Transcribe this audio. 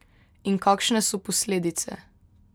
In kakšne so posledice?